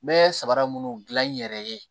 N bɛ sabara munnu gilan n yɛrɛ ye